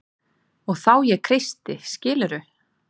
Og þá ég kreisti skilurðu?